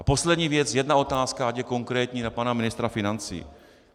A poslední věc - jedna otázka, ať je konkrétní, na pana ministra financí.